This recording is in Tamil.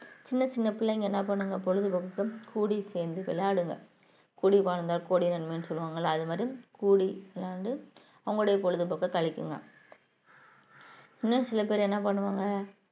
சின்ன சின்ன பிள்ளைங்க என்ன பண்ணுங்க பொழுதுபோக்குக்கு கூடி சேர்ந்து விளையாடுங்க கூடி வாழ்ந்தா கோடி நன்மைன்னு சொல்லுவாங்கல்லே அது மாதிரி கூடி வந்து அவங்களுடைய பொழுது போக்கை கழிக்குங்க